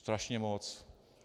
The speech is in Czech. Strašně moc.